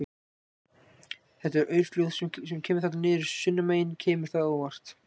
Þetta aurflóð sem kemur þarna niður sunnanmegin, kemur það á óvart?